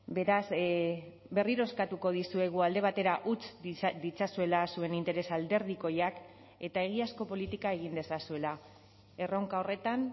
beraz berriro eskatuko dizuegu alde batera utz ditzazuela zuen interes alderdikoiak eta egiazko politika egin dezazuela erronka horretan